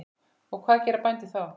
Og hvað gera bændur þá?